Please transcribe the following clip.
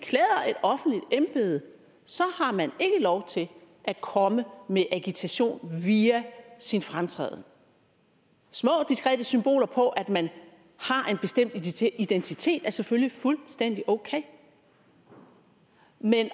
offentligt embede har man ikke lov til at komme med agitation via sin fremtræden små diskrete symboler på at man har en bestemt identitet identitet er selvfølgelig fuldstændig okay men